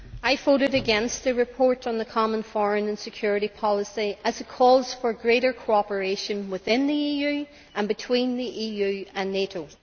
Mr President, I voted against the report on the Common Foreign and Security Policy, as it calls for greater cooperation within the EU, and between the EU and NATO.